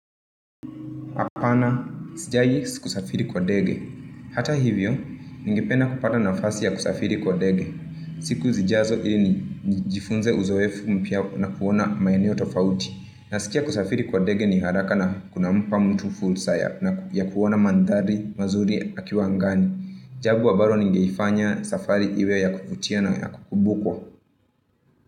Hata hivyo, ningependa kupata nafasi ya kusafiri kwa ndege. Siku zijazo ili nijifunze uzoefu mpya na kuona maeneo tofauti. Nasikia kusafiri kwa ndege ni haraka na kunampa mtu fursa ya, na kuona mandhari mazuri akiwa angani. Jambo ambalo ningeifanya safari iwe ya kuvutia na ya kukumbukwa.